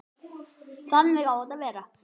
Þannig á þetta að vera.